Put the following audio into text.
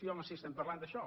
sí home sí estem parlant d’això